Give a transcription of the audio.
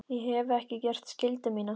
Ég hef ekki gert skyldu mína.